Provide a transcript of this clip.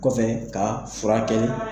Kɔfɛ ka furakɛli